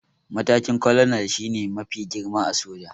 Matakin 'Colonel' shi ne mafi girma a soja